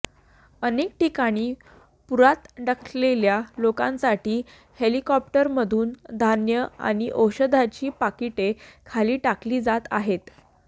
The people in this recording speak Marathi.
अनेक ठिकाणी पूरात अडकलेल्या लोकांसाठी हेलिकॉप्टरमधून धान्य आणि औषधाची पाकिटे खाली टाकली जात आहेत